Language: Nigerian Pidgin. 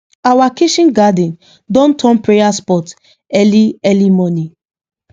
our kitchen garden don turn prayer spot early early morning